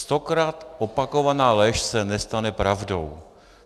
Stokrát opakovaná lež se nestane pravdou.